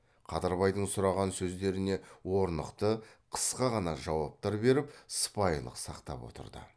қадырбайдың сұраған сөздеріне орнықты қысқа ғана жауаптар беріп сыпайылық сақтап отырды